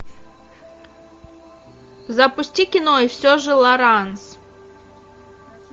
запусти кино и все же лоранс